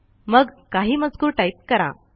मग काही मजकूर टाईप करा